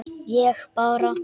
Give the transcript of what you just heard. Ég bara.